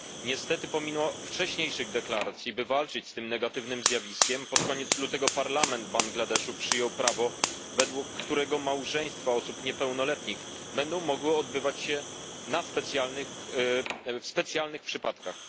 Niestety pomimo wcześniejszych deklaracji, by walczyć z tym negatywnym zjawiskiem, pod koniec lutego Parlament Bangladeszu przyjął prawo, według którego małżeństwa osób niepełnoletnich będą mogły odbywać się w specjalnych przypadkach.